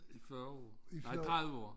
I 40 år nej 30 år